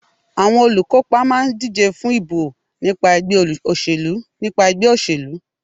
Àwọn olùkópa máà ń díje fún ìbò nípa ẹgbẹ́ òṣèlú.